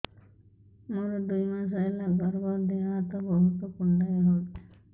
ମୋର ଦୁଇ ମାସ ହେଲା ଗର୍ଭ ଦେହ ହାତ ବହୁତ କୁଣ୍ଡାଇ ହଉଚି